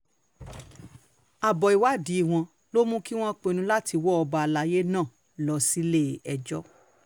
abo ìwádìí wọn ló mú kí wọ́n pinnu láti wọ ọba àlàyé náà lọ sílé-ẹjọ́